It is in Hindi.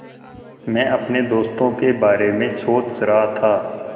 मैं अपने दोस्तों के बारे में सोच रहा था